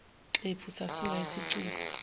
xephu sasuka isicubu